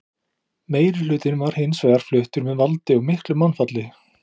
Meirihlutinn var hins vegar fluttur með valdi og miklu mannfalli.